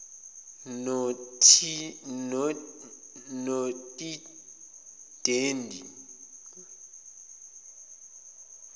notidendi